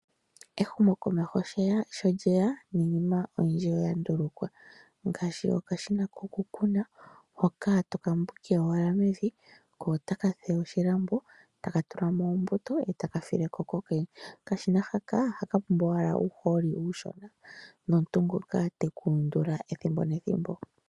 Ehumokomeho sho lyeya, niinima oyindji oya ndulukwa ngaashi okashina kokukuna hoka toka mbwike owala mevi ko ota ka fulu oshilambo taka tulamo ombuto e taka fileko kokene. Okashina oha ka pumbwa owala uuhooli iushona nomuntu ngoka tekuundula ethimbo nethimbo.